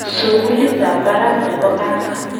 sugulit ab barak nebo cancer